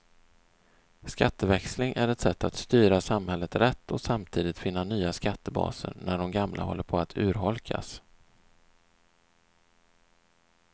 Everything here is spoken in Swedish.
Skatteväxling är ett sätt att styra samhället rätt och samtidigt finna nya skattebaser när de gamla håller på att urholkas.